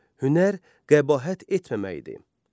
Hünər qəbahət etməməkdir.